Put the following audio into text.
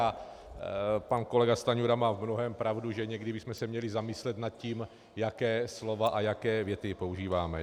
A pan kolega Stanjura má v mnohém pravdu, že někdy bychom se měli zamyslet nad tím, jaká slova a jaké věty používáme.